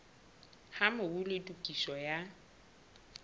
ha mobu le tokiso ya